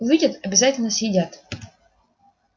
увидят обязательно съедят